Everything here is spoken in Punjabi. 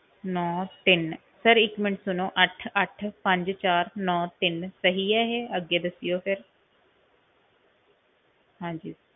ਨੋਂ ਤਿੰਨ sir ਇੱਕ ਮਿੰਟ ਸੁਣੋ ਅੱਠ ਅੱਠ ਪੰਜ ਚਾਰ ਨੋਂ ਤਿੰਨ ਸਹੀ ਆ ਇਹ, ਅੱਗੇ ਦੱਸਿਓ sir ਹਾਂਜੀ।